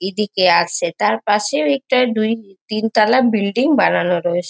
ইদিকে আর সে তার পাশেও একটা ডুই তিন তালা বিল্ডিং বানানো রয়েসে।